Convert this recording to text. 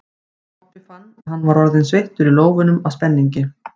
Kobbi fann að hann var orðinn sveittur í lófunum af spenningi.